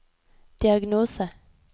diagnose